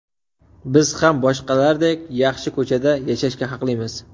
Biz ham boshqalardek, yaxshi ko‘chada yashashga haqlimiz.